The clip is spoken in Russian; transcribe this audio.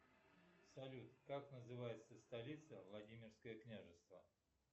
салют как называется столица владимирское княжество